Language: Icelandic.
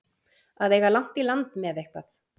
Að eiga langt í land með eitthvað